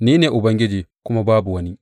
Ni ne Ubangiji, kuma babu wani.